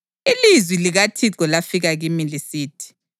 Ilizwi likaThixo lafika kimi lisithi: